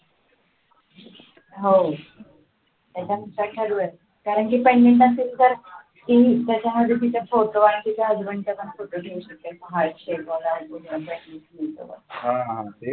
हवं कारण की pendant असेल तर त्याच्यामध्ये तिचा photo आणि तिच्या husband चा पण photo हा